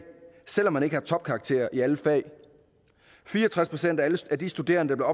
selv om man ikke har topkarakterer i alle fag fire og tres procent af de studerende der